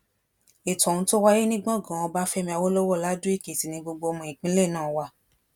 ètò ohun tó wáyé ní gbọngàn ọbáfẹmi awolowo ladoekìtì ni gbogbo ọmọ ìpínlẹ náà wà